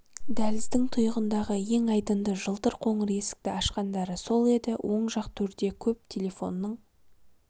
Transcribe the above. дәліздің тұйығындағы ең айдынды жылтыр қоңыр есікті ашқандары сол еді оң жақ төрде көп телефонның